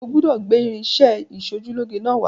O gbọ́dọ̀ gbé irinṣẹ́-ìṣojúlóge náà wá